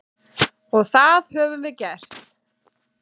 Og það höfum við gert.